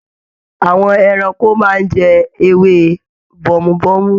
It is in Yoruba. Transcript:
Àwọn ẹranko máa n jẹ ewé bomubomu.